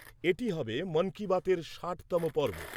এটি হবে 'মন কি বাতের' ষাটতম পর্ব।